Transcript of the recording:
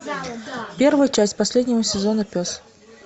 первую часть последнего сезона пес